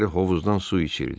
Bəziləri hovuzdan su içirdi.